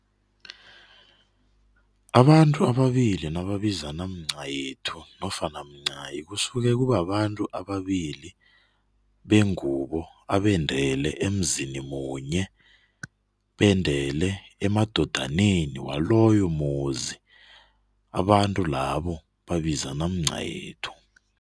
Abantu ababili nababizana mncayethu nofana mncayi, kusuke kubabantu ababili bengubo abendele emzini munye, bendele emadodaneni waloyo muzi. Abantu labo babizana mncayethu.